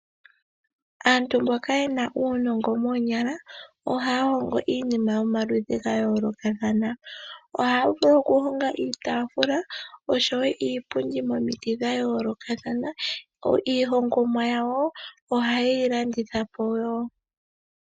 Aantu mboka yena uunongo moonyala ohaya hongo iinima yomaludhi ga yoolokathana. Ohaya vulu oku honga iitafula osho wo iipundi momiti dha yoolokathana. Iihongomwa yawo oha yeyi landithapo wo.